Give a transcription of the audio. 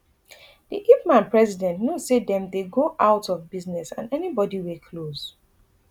di ipman president note say dem dey go out of business and anybodi wey close